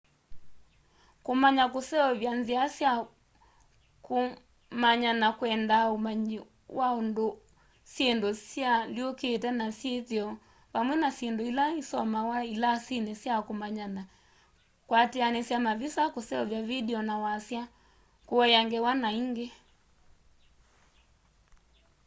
kumanya kuseovya nzia sya kumanyana kwendaa umanyi wa unduũ syindũ syialyũkite na syithio vamwe na syindũ ila isomawa ilasini sya kũmanyana kwatianisya mavisa kuseuvya vindio na wasya kuea ngewa na ingi